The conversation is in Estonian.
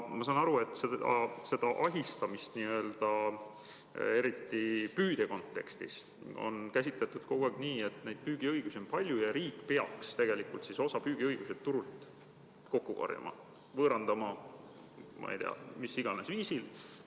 Ma saan aru, et seda ahistamist, eriti püüdja seisukohalt, on kogu aeg käsitletud nii, et püügiõigusi on palju ja riik peaks tegelikult osa püügiõigusi turult kokku korjama, neid mis iganes viisil võõrandama.